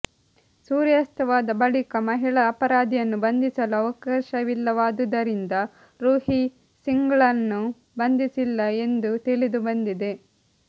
ಸೂರ್ಯಾಸ್ಥವಾದ ಬಳಿಕ ಮಹಿಳಾ ಅಪರಾಧಿಯನ್ನು ಬಂಧಿಸಲು ಅವಕಾಶವಿಲ್ಲವಾದುದರಿಂದ ರುಹಿ ಸಿಂಗ್ಳನ್ನು ಬಂಧಿಸಿಲ್ಲ ಎಂದು ತಿಳಿದು ಬಂದಿದೆ